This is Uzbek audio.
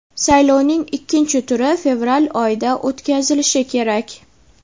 Saylovning ikkinchi turi fevral oyida o‘tkazilishi kerak.